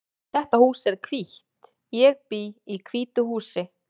Þetta hús er hvítt. Ég bý í hvítu húsi.